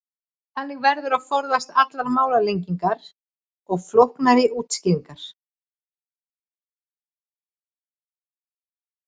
þannig verður að forðast allar málalengingar og flóknari útskýringar